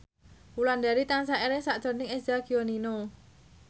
Wulandari tansah eling sakjroning Eza Gionino